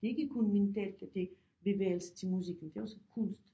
Det er ikke kun mentalt at det bevægelse til musikken det er også kunst